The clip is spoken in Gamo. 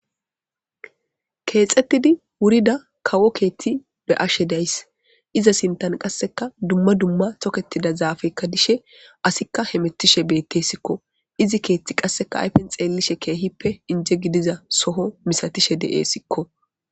keexettidi wurida kawo keethti be ashe days iza sintan qasseka dumma dumma toketida zaafekka dishe asikka hemettishe beettessikko izi keethti qasseka ayfen xeelishe keehippe inje gidiza soho misatishe de7e sikko